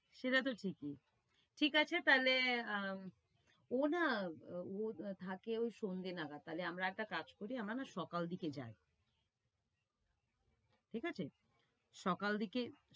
সেটা তো ঠিকই। ঠিক আছে তাইলে, অ্যা~ ও না থাকে ঐ সন্ধ্যে নাগাদ। তাইলে আমরা একটা কাজ করি, আমরা না সকাল দিকে যাই। ঠিক আছে? সকাল দিকে